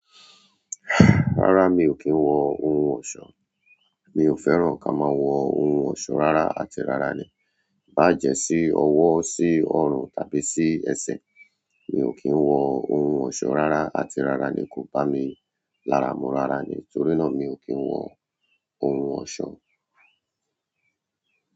Rárá mi ò kí ń wọ ohun ọ̀ṣọ́, mi ò fẹ́ràn ká má wọ ohun ọ̀ṣọ́ rárá àti rárá le, bá jẹ́ sí ọwọ́, sí orun tàbí sí ẹsẹ̀. Mi ò kí ń wọ ohun ọ̀ṣọ́ rárá àti rárá le kò bá mi lára mú rárá le nítorí náà mi ò kí ń wọ ohun ọ̀ṣọ́.